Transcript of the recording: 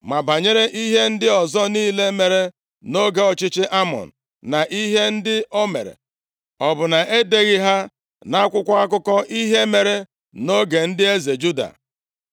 Ma banyere ihe ndị ọzọ niile mere nʼoge ọchịchị Amọn na ihe ndị o mere, ọ bụ na e deghị ha nʼakwụkwọ akụkọ ihe mere nʼoge ndị eze Juda?